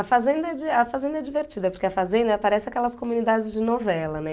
A fazenda é di a fazenda é divertida, porque a fazenda ela parece aquelas comunidades de novela, né?